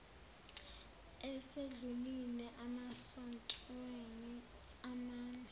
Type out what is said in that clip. esedlulile emasontweni amane